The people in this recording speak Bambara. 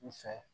U fɛ